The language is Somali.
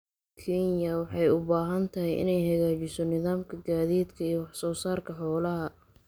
Kenya waxay u baahan tahay inay hagaajiso nidaamka gaadiidka ee wax soo saarka xoolaha.